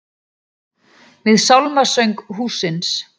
Við sálmasöng hússins.